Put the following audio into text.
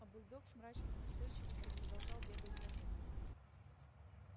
а бульдог с мрачной настойчивостью продолжал бегать за ним